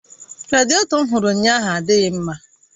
Radiéto m hụrụ ụnyaahụ adịghị mma